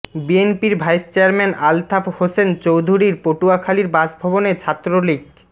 বিএনপির vice chairman Altaf Hossain চৌধুরীর পটুয়াখালীর বাসভবনে ছাত্রলীগ